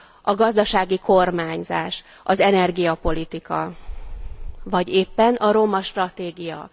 A gazdasági kormányzás, az energiapolitika, vagy éppen a romastratégia.